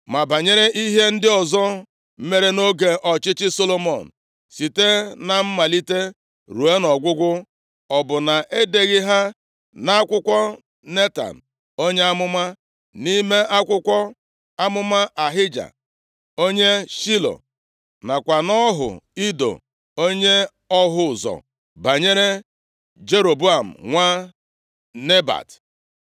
Ma banyere Ihe ndị ọzọ mere nʼoge ọchịchị Solomọn, site na mmalite ruo nʼọgwụgwụ, ọ bụ na-edeghị ha nʼakwụkwọ Netan onye amụma, nʼime akwụkwọ amụma Ahija, onye Shilo, nakwa nʼọhụ Ido onye ọhụ ụzọ, banyere Jeroboam nwa Nebat?